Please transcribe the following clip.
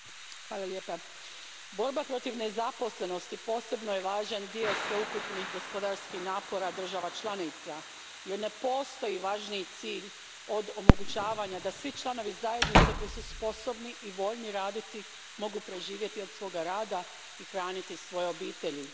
Gospodine predsjedniče, borba protiv nezaposlenosti posebno je važan dio sveukupnih gospodarskih napora država članica, jer ne postoji važniji cilj od omogućavanja da svi članovi zajednice koji su sposobni i voljni raditi mogu preživjeti od svoga rada i hraniti svoje obitelji.